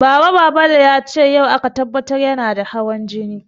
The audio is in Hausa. Ba Babale ya ce yau aka tabbatar yana da hawan jini ba.